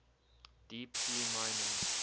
deep sea mining